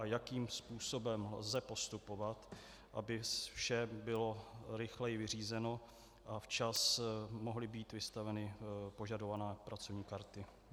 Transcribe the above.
A jakým způsobem lze postupovat, aby vše bylo rychleji vyřízeno a včas mohly být vystaveny požadované pracovní karty.